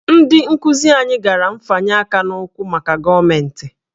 Ndị nkuzi anyị gara nfanye aka n'ụkwụ maka gọọmentị